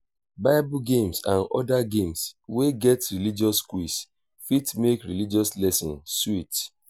bible games and oda games wey get religious quiz fit make religious lesson sweet